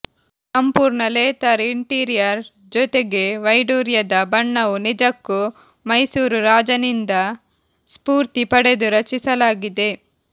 ಸಂಪೂರ್ಣ leather interior ಜೊತೆಗೆ ವೈಡೂರ್ಯದ ಬಣ್ಣವು ನಿಜಕ್ಕೂ ಮೈಸೂರು ರಾಜನಿಂದ ಸ್ಪೂರ್ತಿ ಪಡೆದು ರಚಿಸಲಾಗಿದೆ